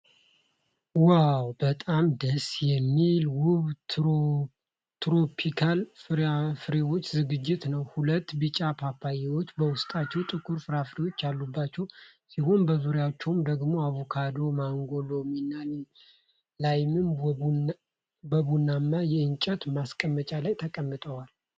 ዋው! በጣም ደስ የሚል ውብ ትሮፒካል ፍራፍሬዎች ዝግጅት ነው። ሁለት ቢጫ ፓፓያዎች በውስጣቸው ጥቁር ፍሬዎች ያሉባቸው ሲሆኑ፣ በዙሪያቸው ደግሞ አቮካዶ፣ ማንጎ፣ ሎሚ እና ላይም በቡናማ የእንጨት ማስቀመጫ ላይ ተቀምጠዋል።